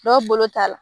Dɔw bolo ta la